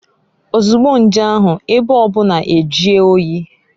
Ozugbo nje ahu, ebe obuna ejie oyi.